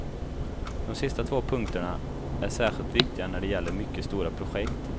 De sista två punkterna är särskilt viktiga när det gäller mycket stora projekt.